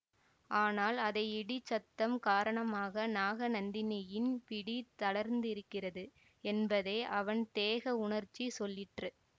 ஆனால் அதை இடிச் சத்தம் காரணமாக நாகநந்தியின் பிடி தளர்ந்திருக்கிறது என்பதை அவன் தேக உணர்ச்சி சொல்லிற்று